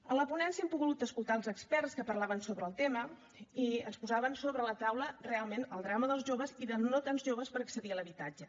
a la ponència hem pogut escoltar els experts que parlaven sobre el tema i ens posaven sobre la taula realment el drama dels joves i dels no tan joves per accedir a l’habitatge